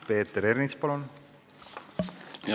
Peeter Ernits, palun!